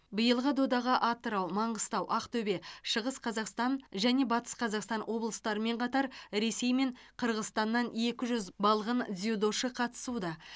биылғы додаға атырау маңғыстау ақтөбе шығыс қазақстан және батыс қазақстан облыстарымен қатар ресей мен қырғызстаннан екі жүз балғын дзюдошы қатысуда